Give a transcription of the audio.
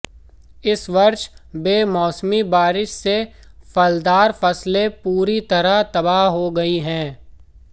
इस वर्ष बेमौसमी बारिश से फलदार फसलें पूरी तरह तबाह हो गई हैं